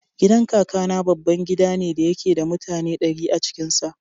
Gidan Kakana babban gida ne da yake da mutane ɗari a cikin sa.